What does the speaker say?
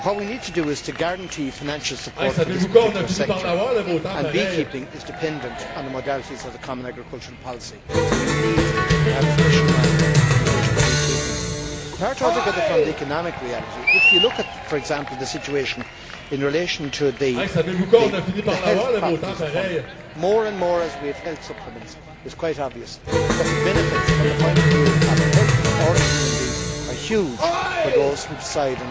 What we need to do is to guarantee financial support for this particular sector. Beekeeping is dependent on the modalities of the common agricultural policy, so we need to have a special line in relation to beekeeping. Quite apart from the economic reality, if you look at, for example, the situation in relation to the health properties of honey as we have more and more honey based health supplements it is quite obvious that the benefits from the point of view of the health of the ordinary human being are huge for those who decide